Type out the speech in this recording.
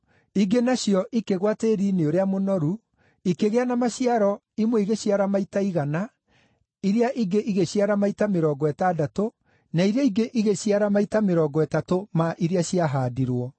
Ingĩ nacio ikĩgũa tĩĩri-inĩ ũrĩa mũnoru, ikĩgĩa na maciaro imwe ĩgĩciara maita igana, iria ingĩ igĩciara maita mĩrongo ĩtandatũ, na iria ingĩ igĩciara maita mĩrongo ĩtatũ ma iria ciahaandirwo.